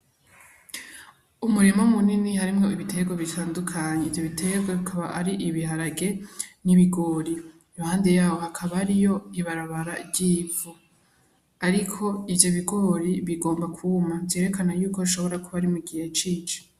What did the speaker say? umurima mu nini harimwo ibiterwa bitandukanye ivyo biterwa akaba ari ibiharage n'ibigori iruhande yaho hakaba hariyo ibarabara ryivu ariko ivyo bigori bigomba kuma vyerekana yuko hashobora kuba ari mu gihe cici.